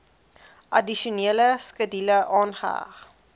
addisionele skedule aangeheg